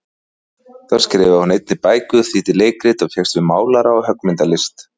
Þá skrifaði hún einnig bækur, þýddi leikrit, og fékkst við málara- og höggmyndalist.